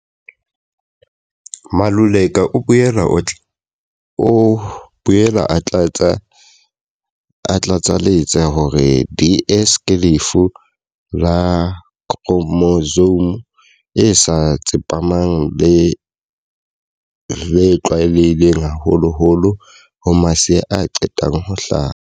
Maluleka o boela a tlatsa letsa hore DS ke lefu la khro mosome e sa tsepamang le tlwaelehileng haholoholo ho masea a qetang ho hlaha.